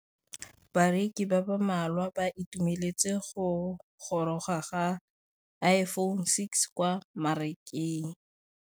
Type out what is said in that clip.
Bareki ba ba malwa ba ituemeletse go gôrôga ga Iphone6 kwa mmarakeng.